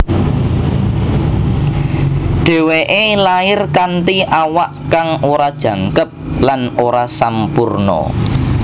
Dhèwèké lair kanthi awak kang ora jangkep lan ora sampurna